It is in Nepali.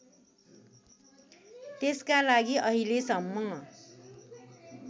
त्यसका लागि अहिलेसम्म